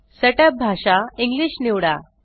set up भाषा English निवडा